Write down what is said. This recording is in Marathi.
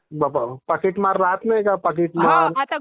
बाप्पा पाकीट मार राहत नाही काय पाकीट मार.